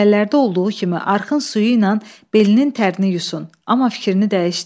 Əvvəllərdə olduğu kimi arxın suyu ilə belinin tərini yusun, amma fikrini dəyişdi.